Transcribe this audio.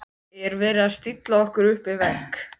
Er verið að stilla okkur upp við vegg?